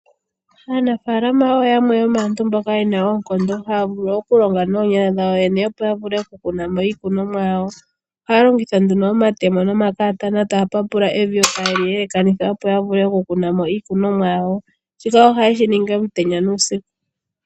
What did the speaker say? Aanafaalama oyo aantu mboka yena oonkondo haya vulu okulonga noonyala dhawo yene opo ya vule okukuna iikunomwa yawo. Ohaya longitha omatemo nomakatana, taya papula evi yo ta yeli yelekanitha opo ya vule okukuna mo iikunomwa yawo. Shika ohaye shi ningi omutenya nuusiku.